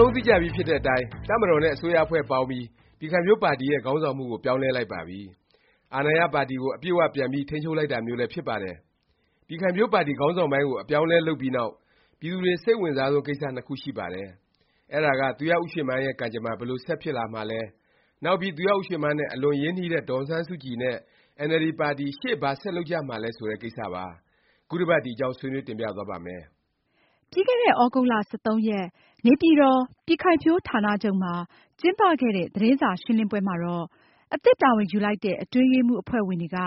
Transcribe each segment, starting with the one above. လုံးသိကြပြီဖြစ်တဲ့အတိုင်း တပ်မတော်နဲ့ အစိုးရအဖွဲ့ ပေါင်းပြီး ပြည်ခိုင်ဖြိုးပါတီရဲ့ ခေါင်းဆောင်မှုကို ပြောင်းလဲလိုက်ပါပြီ။ အာဏာရပါတီကို အပြည့်အ၀ ပြန်ပြီး ထိန်းချုပ်လိုက်တာမျိုးလည်း ဖြစ်ပါတယ်။ ပြည်ခိုင်ဖြိုးပါတီ ခေါင်းဆောင်ပိုင်းကို အပြောင်းအလဲ လုပ်ပြီးနောက် ပြည်သူတွေ စိတ်အဝင်စားဆုံး ကိစ္စ နှစ်ခုရှိပါတယ်။ အဲဒါက သူရဦးရွှေမန်းရဲ့ ကံကြမ္မာ ဘယ်လို ဆက်ဖြစ်လာမှာလဲ၊ နောက်ပြီး သူရဦးရွှေမန်းနဲ့ အလွန် ရင်းနှီးတဲ့ ဒေါ်အောင်ဆန်းစုကြည် နဲ့ အင်အယ်လ်ဒီပါတီ ရှေ့ ဘာဆက်လုပ်ကြမှာလဲ ဆိုတဲ့ ကိစ္စပါ။ ခုတစ်ပါတ် ဒီအကြောင်း ဆွေးနွေး တင်ပြသွားပါ့မယ်။ ပြီးခဲ့တဲ့ သြဂုတ်လ ၁၃ ရက် နေပြည်တော် ပြည်ခိုင်ဖြိုးဌာနချုပ်မှာ ကျင်းပခဲ့တဲ့ သတင်းစာရှင်းလင်းပွဲမှာတော့ အသစ်တာဝန်ယူလိုက်တဲ့ အတွင်းရေးမှူး အဖွဲ့ဝင်တွေက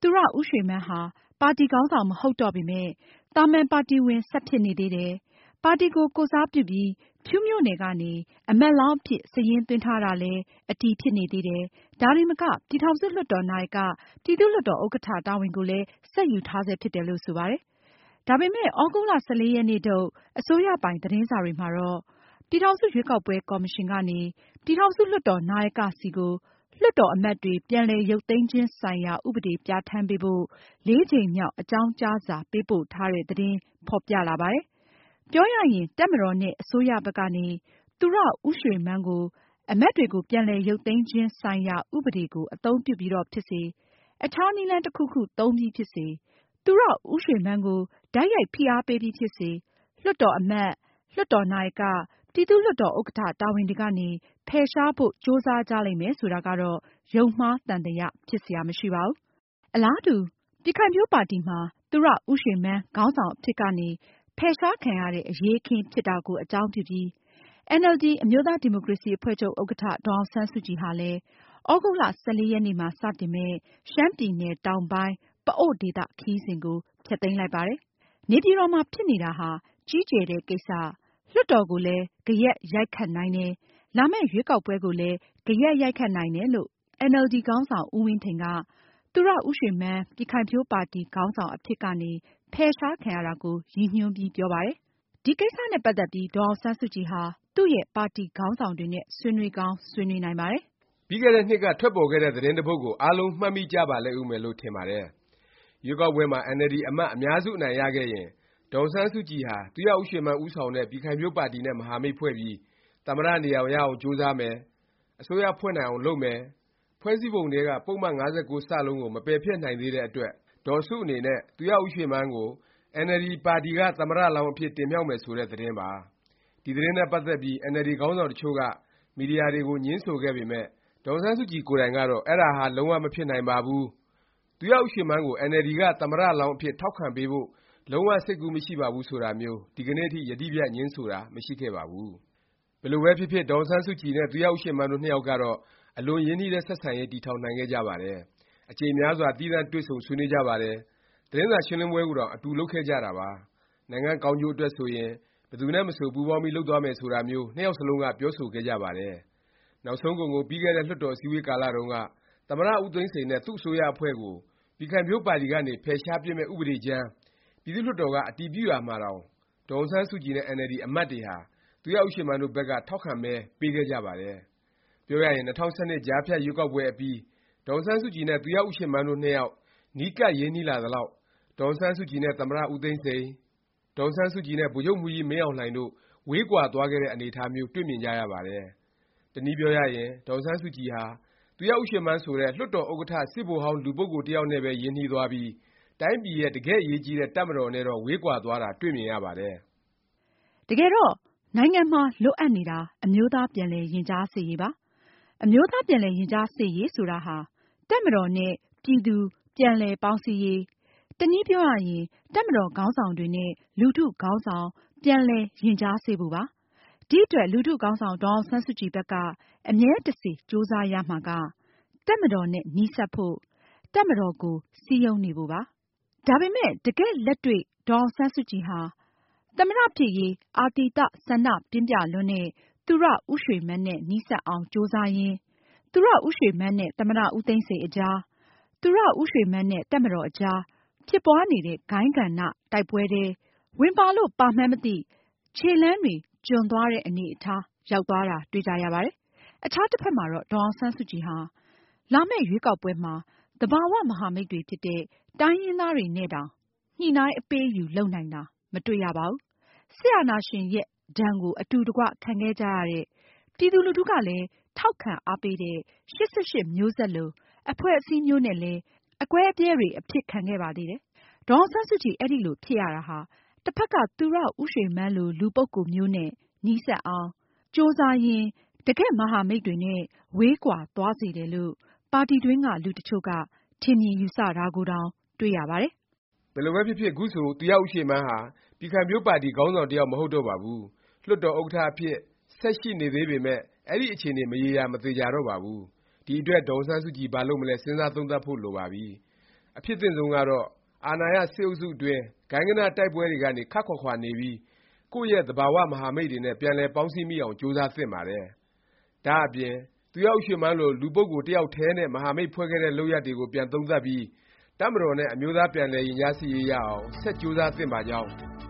သူရဦးရွှေမန်းဟာ ပါတီခေါင်းဆောင် မဟုတ်တော့ပေမယ့် သာမန် ပါတီဝင် ဆက်ဖြစ်နေသေးတယ်၊ ပါတီကို ကိုယ်စားပြုပြီး ဖြူးမြို့နယ်ကနေ အမတ်လောင်းအဖြစ် စာရင်းသွင်းထားတာလည်း အတည်ဖြစ်နေသေးတယ်၊ ဒါတင်မက ပြည်ထောင်စု လွှတ်တော် နာယက၊ ပြည်သူ့လွှတ်တော် ဥက္ကဌ တာဝန်ကိုလည်း ဆက်ယူထားဆဲ ဖြစ်တယ် လို့ ဆိုပါတယ်။ ဒါပေမယ့် သြဂုတ်လ ၁၄ ရက်နေ့ထုတ် အစိုးရပိုင် သတင်းစာတွေမှာတော့ ပြည်ထောင်စု ရွေးကောက်ပွဲ ကော်မရှင် ကနေ ပြည်ထောင်စု လွှတ်တော် နာယက ဆီကို လွှတ်တော် အမတ်တွေ ပြန်လည် ရုပ်သိမ်းခြင်းဆိုင်ရာ ဥပဒေ ပြဌာန်းပေးဖို့ ကြိမ်မြောက် အကြောင်းကြားစာ ပေးပို့ထားတဲ့ သတင်း ဖော်ပြလာပါတယ်။ ပြောရရင် တပ်မတော်နဲ့ အစိုးရဘက်ကနေ သူရဦးရွှေမန်းကို အမတ်တွေကို ပြန်လည် ရုပ်သိမ်းခြင်းဆိုင်ရာ ဥပဒေကို အသုံးပြုပြီးတော့ဖြစ်စေ၊ အခြား နည်းလမ်း တစ်ခုခု သုံးပြီး ဖြစ်စေ၊ သူရဦးရွှေမန်းကို တိုက်ရိုက် ဖိအားပေးပြီးဖြစ်စေ လွှတ်တော် အမတ်၊ လွှတ်တော် နာယက၊ ပြည်သူ့လွှတ်တော် ဥက္ကဌ တာဝန်တွေကနေ ဖယ်ရှားဖို့ ကြိုးစားကြလိမ့်မယ် ဆိုတာကတော့ ယုံမှားသံသယ ဖြစ်စရာ မရှိပါဘူး။ အလားတူ ပြည်ခိုင်ဖြိုးပါတီမှာ သူရဦးရွှေမန်း ခေါင်းဆောင်အဖြစ်ကနေ ဖယ်ရှားခံရတဲ့ အရေးအခင်း ဖြစ်ခဲ့တာကို အကြောင်းပြုပြီး အင်န်အယ်လ်ဒီ အမျိုးသားဒီမိုကရေစီ အဖွဲ့ချုပ် ဥက္ကဌ ဒေါ်အောင်ဆန်းစုကြည်ဟာလည်း သြဂုတ်လ ၁၄ ရက်နေ့မှာ စတင်မယ့် ရှမ်းပြည်နယ် တောင်ပိုင်း ပအို့ဝ်ဒေသ ခရီးစဉ်ကို ဖျက်သိမ်းလိုက်ပါတယ်။ နေပြည်တော်မှာ ဖြစ်နေတာဟာ ကြီးကျယ်တဲ့ ကိစ္စ၊ လွှတ်တော်ကိုလည်း ဂယက်ရိုက်ခတ်နိုင်တယ်၊ လာမယ့် ရွေးကောက်ပွဲကိုလည်း ဂယက် ရိုက်ခတ်နိုင်တယ် လို့ အင်န်အယ်လ်ဒီ ခေါင်းဆောင် ဦးဝင်းထိန်က သူရဦးရွှေမန်း ပြည်ခိုင်ဖြိုးပါတီ ခေါင်းဆောင် အဖြစ်ကနေ ဖယ်ရှားခံရတာကို ရည်ညွှန်းပြီး ပြောပါတယ်။ ဒီ ကိစ္စနဲ့ ပတ်သက်ပြီး ဒေါ်အောင်ဆန်းစုကြည်ဟာ သူ့ရဲ့ ပါတီခေါင်းဆောင်တွေနဲ့ ဆွေးနွေးကောင်း ဆွေးနွေးနိုင်ပါတယ်။ ပြီးခဲ့တဲ့ နှစ်က ထွက်ပေါ်ခဲ့တဲ့ သတင်းတစ်ပုဒ်ကို အားလုံး မှတ်မိကြပါဦးမယ်လို့ ထင်ပါတယ်။ ရွေးကောက်ပွဲမှာ အင်န်အယ်လ်ဒီ အမတ် အများစု အနိုင်ရခဲ့ရင် ဒေါ်အောင်ဆန်းစုကြည်ဟာ သူရဦးရွှေမန်း ဦးဆောင်တဲ့ ပြည်ခိုင်ဖြိုးပါတီနဲ့ မဟာမိတ် ဖွဲ့ပြီး သမ္မတ နေရာ ရအောင်ကြိုးစားမယ်၊ အစိုးရဖွဲ့နိုင်အောင် လုပ်မယ်၊ ဖွဲ့စည်းပုံထဲက ပုဒ်မ ၅၉ ကို မပယ်ဖျက်နိုင်သေးတဲ့ အတွက် ဒေါ်စုအနေနဲ့ သူရဦးရွှေမန်းကို အင်န်အယ်လ်ဒီ ပါတီကသမ္မတ လောင်းအဖြစ် တင်မြှောက်မယ် ဆိုတဲ့ သတင်းပါ။ ဒီ သတင်းနဲ့ ပတ်သက်ပြီး အင်န်အယ်လ်ဒီ ခေါင်းဆောင်တစ်ချို့က မီဒီယာတွေကို ငြင်းဆိုခဲ့ပေမယ့် ဒေါ်အောင်ဆန်းစုကြည် ကိုယ်တိုင်ကတော့ အဲဒါဟာ လုံး၀ မဖြစ်နိုင်ပါဘူး၊ သူရဦးရွှေမန်းကို အင်န်အယ်လ်ဒီက သမ္မတ လောင်းအဖြစ်ထောက်ခံပေးဖို့ လုံး၀ စိတ်ကူးမရှိပါဘူး ဆိုတာမျိုး ဒီကနေ့ထိ ယတိပြတ် ငြင်းဆိုတာ မရှိခဲ့ပါဘူး။ ဘယ်လိုပဲဖြစ်ဖြစ် ဒေါ်အောင်ဆန်းစုကြည်နဲ့ သူရဦးရွှေမန်းတို့နှစ်ယောက်ကတော့ အလွန် ရင်းနှီးတဲ့ ဆက်ဆံရေး တည်ထောင်နိုင်ခဲ့ကြပါတယ်။ အကြိမ်များစွာ သီးသန့် တွေ့ဆုံ ဆွေးနွေးကြပါတယ်။ သတင်းစာ ရှင်းလင်းပွဲကိုတောင် အတူ လုပ်ခဲ့ကြတာပါ။ နိုင်ငံ့ကောင်းကျိုး အတွက်ဆိုရင် ဘယ်သူနဲ့ မဆို ပူးပေါင်းပြီး လုပ်သွားမယ် ဆိုတာမျိုး နှစ်ယောက်စလုံးက ပြောဆိုခဲ့ကြပါတယ်။ နောက်ဆုံးကုန်ကုန် ပြီးခဲ့တဲ့ လွှတ်တော် အစည်းအဝေး ကာလ တုန်းက သမ္မတ ဦးသိန်းစိန်နဲ့ သူ့ အစိုးရအဖွဲ့ကို ပြည်ခိုင်ဖြိုးပါတီ ကနေ ဖယ်ရှားပစ်မယ့် ဥပဒေကြမ်း ပြည်သူ့လွှတ်တော် က အတည်ပြုရာမှာတောင် ဒေါ်အောင်ဆန်းစုကြည်နဲ့ အင်န်အယ်လ်ဒီ အမတ်တွေဟာ သူရဦးရွှေမန်းတို့ဘက်က ထောက်ခံ မဲပေးခဲ့ကြပါတယ်။ ပြောရရင် ၂၀၁၂ ကြားဖြတ်ရွေးကောက်ပွဲ အပြီး ဒေါ်အောင်ဆန်းစုကြည်နဲ့ သူရဦးရွှေမန်းတို့နှစ်ယောက် နီးကပ် ရင်းနှီးလာသလောက် ဒေါ်အောင်ဆန်းစုကြည်နဲ့ သမ္မတ ဦးသိန်းစိန်၊ ဒေါ်အောင်ဆန်းစုကြည်နဲ့ ဗိုလ်ချုပ်မှူးကြီးမင်းအောင်လှိုင်တို့ ဝေးကွာ သွားခဲ့တဲ့ အနေအထားမျိုး တွေ့မြင်ကြရပါတယ်။ တစ်နည်းပြောရရင် ဒေါ်အောင်ဆန်းစုကြည်ဟာ သူရဦးရွှေမန်းဆိုတဲ့ လွှတ်တော် ဥက္ကဌ စစ်ဗိုလ်ဟောင်း လူပုဂ္ဂိုလ်တစ်ယောက်နဲ့ပဲ ရင်းနှီးသွားပြီး တိုင်းပြည်ရဲ့ တကယ့် အရေးကြီးတဲ့ တပ်မတော်နဲ့တော့ ဝေးကွာသွားတာ တွေ့မြင်ရပါတယ်။ တကယ်တော့ နိုင်ငံမှာ လိုအပ်နေတာ အမျိုးသားပြန်လည် ရင်ကြားစေ့ရေးပါ။ အမျိုးသား ပြန်လည်ရင်ကြားစေ့ရေး ဆိုတာဟာ တပ်မတော်နဲ့ ပြည်သူ ပြန်လည် ပေါင်းစည်းရေး၊ တစ်နည်းပြောရရင် တပ်မတော်ခေါင်းဆောင်တွေနဲ့ လူထု ခေါင်းဆောင် ပြန်လည် ရင်ကြားစေ့ဖို့ပါ။ ဒီအတွက် လူထုခေါင်းဆောင် ဒေါ်အောင်ဆန်းစုကြည် ဘက်က အမြဲတစေ ကြိုးစားရမှာက တပ်မတော်နဲ့ နီးစပ်ဖို့၊ တပ်မတော်ကို စည်းရုံးနေဖို့ပါ။ ဒါပေမယ့်လည်း တကယ့်လက်တွေ့ ဒေါ်အောင်ဆန်းစုကြည်ဟာ သမ္မတ ဖြစ်ရေး အာသီသ ဆန္ဒပြင်းပြလွန်းတဲ့ သူရဦးရွှေမန်းနဲ့ နီးစပ်အောင် ကြိုးစားရင်း၊ သူရဦးရွှေမန်းနဲ့ သမ္မတ ဦးသိန်းစိန် အကြား၊ သူရဦးရွှေမန်းနဲ့ တပ်မတော်အကြား ဖြစ်ပွားနေတဲ့ ဂိုဏ်းဂဏ တိုက်ပွဲထဲ ဝင်ပါလို့ ပါမှန်းမသိ ခြေလှမ်းတွေ ကျွံသွားတဲ့ အနေအထား ရောက်သွားတာ တွေ့ကြရပါတယ်။ အခြားတစ်ဖက်မှာတော့ ဒေါ်အောင်ဆန်းစုကြည်ဟာ လာမယ့် ရွေးကောက်ပွဲမှာ သဘာ၀ မဟာမိတ်တွေဖြစ်တဲ့ တိုင်းရင်းသား တွေနဲ့တောင် ညှိနှိုင်း အပေးအယူ လုပ်နိုင်တာ မတွေ့ရပါဘူး။ စစ်အာဏာရှင်ရဲ့ ဒါဏ်ကို အတူတကွ ခံခဲ့ကြရတဲ့၊ ပြည်သူလူထုကလည်း ထောက်ခံအားပေးတဲ့ ၈၈ မျိုးဆက် လို အဖွဲ့အစည်းမျိုးနဲ့လည်း အကွဲအပြဲ တွေ အဖြစ်ခံခဲ့ပါသေးတယ်။ ဒေါ်အောင်ဆန်းစုကြည် အဲဒီလို ဖြစ်ရတာဟာ တစ်ဖက် သူရဦးရွှေမန်းလို လူပုဂ္ဂိုလ်မျိုးနဲ့ နီးစပ်အောင် ကြိုးစားရင်း တကယ့် မဟာမိတ်တွေနဲ့ ဝေးကွာသွားစေတယ် လို့ ပါတီတွင်းက လူတစ်ချို့က ထင်မြင်ယူဆတာကိုတောင် တွေ့ရပါတယ်။ ဘယ်လိုပဲဖြစ်ဖြစ် ခုဆို သူရဦးရွှေမန်းဟာ ပြည်ခိုင်ဖြိုးပါတီ ခေါင်းဆောင် တစ်ယောက် မဟုတ်တော့ပါဘူး။ လွှတ်တော် ဥက္ကဌ အဖြစ် ဆက်ရှိနေသေးပေမယ့် အဲဒီ အခြေအနေ မရေရာ မသေခြာတော့ပါဘူး။ ဒီအတွက် ဒေါ်အောင်ဆန်းစုကြည် ဘာလုပ်မလဲ စဉ်းစားသုံးသပ်ဖို့ လိုပါပြီ။ အဖြစ်သင့်ဆုံးကတော့ အာဏာရ စစ်အုပ်စုအတွင်း ဂိုဏ်းဂဏ တိုက်ပွဲတွေကနေ ခပ်ခွာခွာနေပြီး ကိုယ့်ရဲ့ သဘာ၀ မဟာမိတ်တွေနဲ့ ပြန်လည် ပေါင်းစည်းမိအောင် ကြိုးစားသင့်ပါတယ်။ ဒါ့အပြင် သူရဦးရွှေမန်းလို လူပုဂ္ဂိုလ်တစ်ယောက်ထဲနဲ့ မဟာမိတ် ဖွဲ့ခဲ့တဲ့ လုပ်ရပ်တွေကို ပြန်သုံးသပ်ပြီး တပ်မတော်နဲ့ အမျိုးသား ပြန်လည်ရင်ကြားစေ့ရေး ရအောင် ဆက်ကြိုးစားသင့်ပါကြောင်း